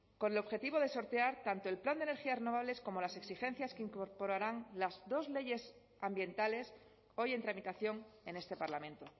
con el objetivo de sortear tanto el plan de energías renovables como las exigencias que incorporarán las dos leyes ambientales hoy en tramitación en este parlamento